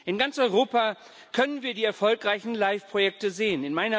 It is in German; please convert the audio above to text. In ganz Europa können wir die erfolgreichen LIFE Projekte sehen.